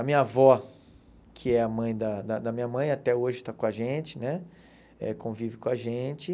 A minha avó, que é a mãe da da da minha mãe, até hoje está com a gente né eh, convive com a gente.